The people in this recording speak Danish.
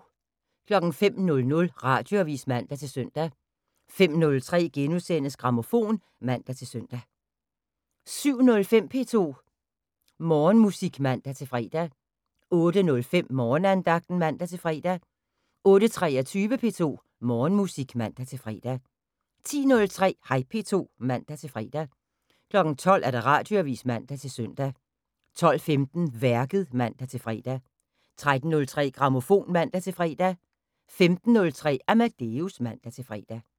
05:00: Radioavis (man-søn) 05:03: Grammofon *(man-søn) 07:05: P2 Morgenmusik (man-fre) 08:05: Morgenandagten (man-fre) 08:23: P2 Morgenmusik (man-fre) 10:03: Hej P2 (man-fre) 12:00: Radioavis (man-søn) 12:15: Værket (man-fre) 13:03: Grammofon (man-fre) 15:03: Amadeus (man-fre)